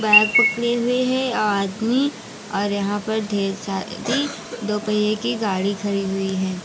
Bag पकड़े हुए हैं और आदमी और यहां पर ढेर सारी दोपहिए की गाड़ी खड़ी हुई हैं।